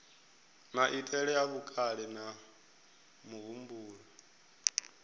maitele a vhukale na muhumbulo